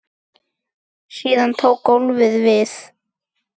Síðan tók golfið við.